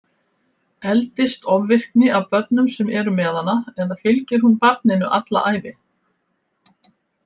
Eldist ofvirkni af börnum sem eru með hana eða fylgir hún barninu alla ævi?